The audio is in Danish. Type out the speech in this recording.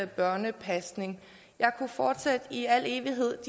børnepasning jeg kunne fortsætte i al evighed